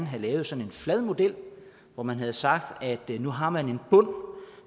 have lavet sådan en flad model hvor man havde sagt at nu har man en bund